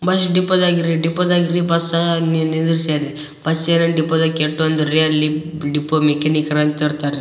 Bus depot ದಗೆ ಇರಿ depot ದಗೆ ಬಸ್ ಅಲ್ಲಿ ಇಲ್ಲಿ ನಿಲ್ಸ್ಯಾರ್ ರೀ ಬಸ್ ಎಲ್ ಡಿಪೋ ದಗೆ ಕೆಟ್ಟು ಅಂದ್ರೆ ಅಲ್ಲಿ ಡಿಪೋ ಮೆಕ್ಯಾನಿಕಲ್ ಇರ್ತಾರ ರೀ.